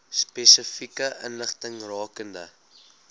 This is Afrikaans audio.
spesifieke inligting rakende